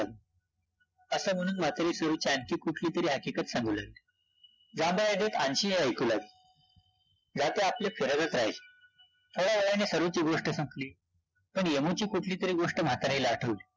असं म्हणून म्हातारी सरुची आणखी कुठलीतरी हकिकत सांगू लागली, अंशी हे ऐकू लागली, जातं आपली फिरवत राहिल, थोड्या वेळाने सरुची गोष्ट संपली पण यमुची कुठलीतरी गोष्ट म्हातारीला आठवली